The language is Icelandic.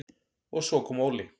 Og svo kom Óli.